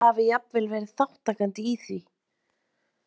Eða hafi jafnvel verið þátttakandi í því?